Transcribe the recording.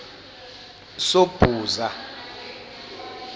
sobhuza